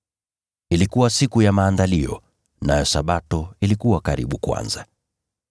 Ilikuwa Siku ya Maandalizi, nayo Sabato ilikuwa karibu kuanza.